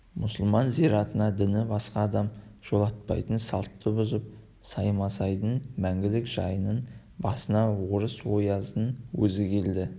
мұсылман зиратына діні басқа адам жолатпайтын салтты бұзып саймасайдың мәңгілік жайының басына орыс ояздың өзі келді